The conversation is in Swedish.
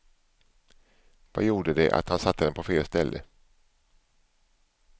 Vad gjorde det att han satte den på fel ställe.